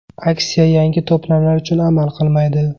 Aksiya yangi to‘plamlar uchun amal qilmaydi.